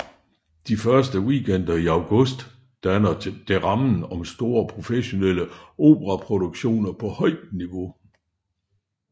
De to første weekender i august danner det rammen om store professionelle operaproduktioner på højt niveau